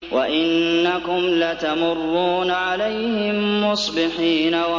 وَإِنَّكُمْ لَتَمُرُّونَ عَلَيْهِم مُّصْبِحِينَ